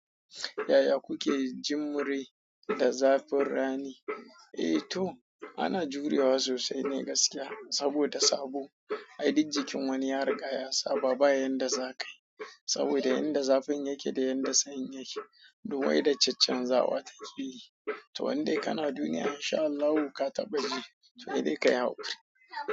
Yaya kuke jimre da zafin rani? Eh to ana jurewa sosai ne gaskiya saboda sabo, ai dik jikin wani ya riga ya saba bayan da zaƙai. Saboda yanda zafin yake da yanda sanyin yake, duk weather can can zawa ta yi. To wanda kana duniya insha Allahu ka taɓaci to dai kayi hakuri.